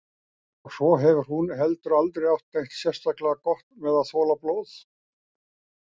Og svo hefur hún heldur aldrei átt neitt sérstaklega gott með að þola blóð.